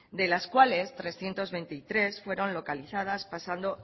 de las cuales trescientos veintitrés fueron localizadas pasando